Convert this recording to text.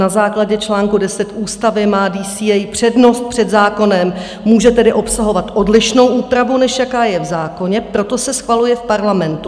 Na základě čl. 10 ústavy má DCA přednost před zákonem, může tedy obsahovat odlišnou úpravu, než jaká je v zákoně, proto se schvaluje v Parlamentu.